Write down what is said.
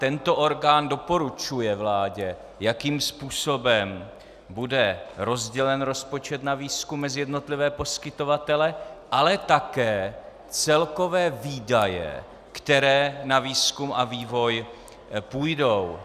Tento orgán doporučuje vládě, jakým způsobem bude rozdělen rozpočet na výzkum mezi jednotlivé poskytovatele, ale také celkové výdaje, které na výzkum a vývoj půjdou.